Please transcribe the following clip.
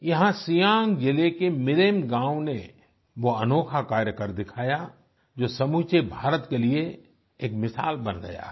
यहां सियांग जिले के मिरेम गांव ने वो अनोखा कार्य कर दिखाया जो समूचे भारत के लिए एक मिसाल बन गया है